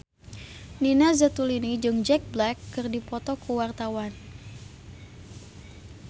Nina Zatulini jeung Jack Black keur dipoto ku wartawan